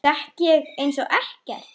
Sekk ég einsog ekkert.